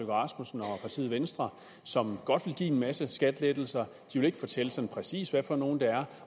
rasmussen og partiet venstre som godt vil give en masse skattelettelser de vil ikke fortælle sådan præcis hvad for nogle det er